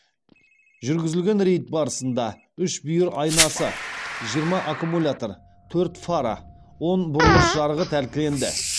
жүргізілген рейд барысында үш бүйір айнасы жиырма аккумулятор төрт фара он бұрылыс жарығы тәркіленді